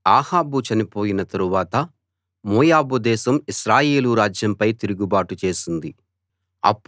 అహాబు చనిపోయిన తరువాత మోయాబు దేశం ఇశ్రాయేలు రాజ్యంపై తిరుగుబాటు చేసింది